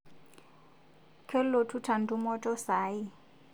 Kelotuta ntumoto sai